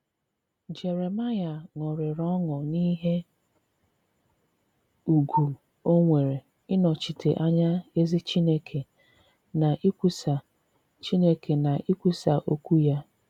Jeremaịa ṅụrịrị ọṅụ n’ihe ùgwù o nwere ịnọchite anya ezi Chineke na ikwusa Chineke na ikwusa okwu ya.